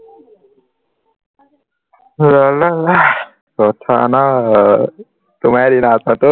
লা লা লা কথা নাই তোমাৰে দিন আৰু